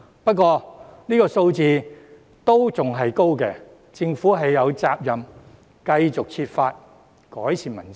不過，這數字仍然偏高，政府有責任繼續設法改善民生。